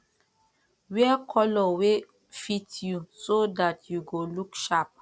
wear color wey fit you so dat you go look sharp